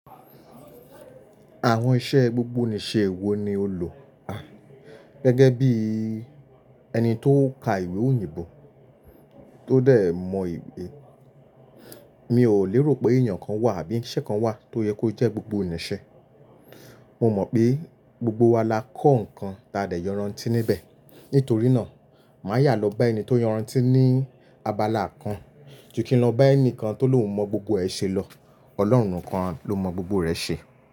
Àwọn iṣẹ́ gbogbonìṣe wo ni o lò? Gẹ́gẹ́ bí ẹni tó ka ìwé òyìnbó tó dẹ̀ mọ ìwé, mi ò lérò pé èèyàn kan wà àbí iṣẹ́ kan wà tó yẹ kó jẹ́ gbogbo nìṣe. Mo mọ̀ pé gbogbo wa la kọ́ nǹkan ta dè yọran tí níbẹ̀. Nítorí náà, má yà lọ bá ẹni tó yọran tí ní abala kan, ju kí n lọ bá ẹnìkan tó lóun mọ gbogbo ẹṣe lọ. Ọlọ́run kan ló mọ gbogbo rẹ̀ ṣe.